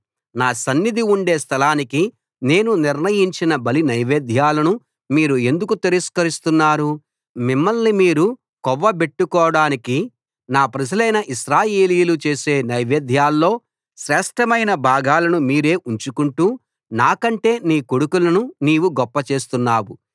నా సన్నిధి ఉండే స్థలానికి నేను నిర్ణయించిన బలి నైవేద్యాలను మీరు ఎందుకు తిరస్కరిస్తున్నారు మిమ్మల్ని మీరు కొవ్వబెట్టుకోడానికి నా ప్రజలైన ఇశ్రాయేలీయులు చేసే నైవేద్యాల్లో శ్రేష్ఠమైన భాగాలను మీరే ఉంచుకొంటూ నాకంటే నీ కొడుకులను నీవు గొప్ప చేస్తున్నావు